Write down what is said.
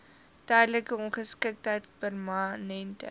tydelike ongeskiktheid permanente